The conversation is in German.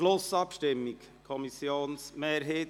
Zustimmung mit folgenden Auflagen: